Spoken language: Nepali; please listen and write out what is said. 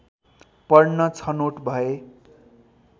पढ्न छनोट भए